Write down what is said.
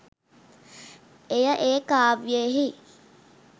එය ඒ කාව්‍යයෙහි